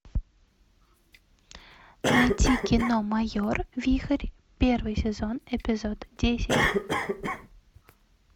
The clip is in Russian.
найти кино майор вихрь первый сезон эпизод десять